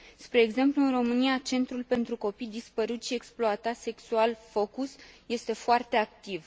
Spre exemplu, în România, Centrul pentru copii dispăruți și exploatați sexual FOCUS este foarte activ.